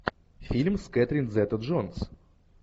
фильм с кэтрин зета джонс